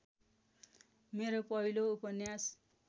मेरो पहिलो उपन्यास